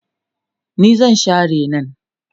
ni zan Share nan